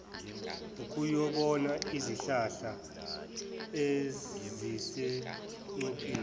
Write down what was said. ukuyobona izihlahla ezisengcupheni